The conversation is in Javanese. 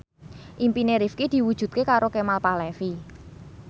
impine Rifqi diwujudke karo Kemal Palevi